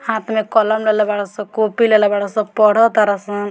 हाथ में कलम लेले बाड़ सन कॉपी लेले बाड़ सन पड़त तारा सन।